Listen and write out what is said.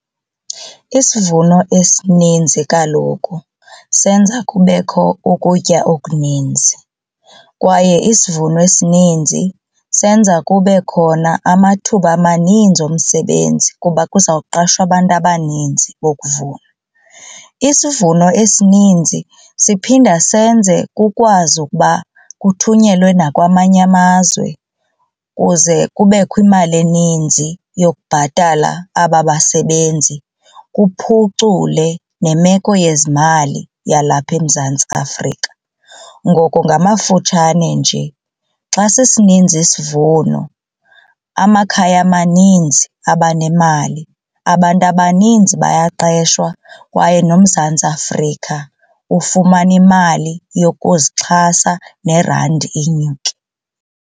Isivuno esininzi kaloku senza kubekho ukutya okuninzi kwaye isivuno esininzi senza kube khona amathuba amaninzi omsebenzi kuba kuza kuqashwa abantu abaninzi bokuvuna. Isivuno esininzi siphinda senze kukwazi ukuba kuthunyelwe nakwamanye amazwe kuze kubekho imali eninzi yokubhatala aba basebenzi kuphucule nemeko yezimali yalapha eMzantsi Afrika. Ngoko ngamafutshane nje xa sisininzi isivuno amakhaya amaninzi abanemali abantu abaninzi bayaqeshwa kwaye noMzantsi Afrika ufumana imali yokuzixhasa nerandi inyuke.